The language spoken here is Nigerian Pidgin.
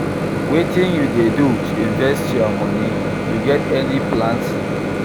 Wetin you dey do to invest your money, you get any plans?